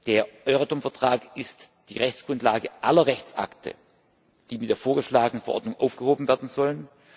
Der Euratom Vertrag ist die Rechtsgrundlage aller Rechtsakte, die mit der vorgeschlagenen Verordnung aufgehoben werden sollen.